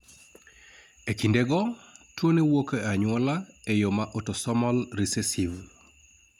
E kinde go, tuo no wuok e anyuola e yo ma autosomal recessive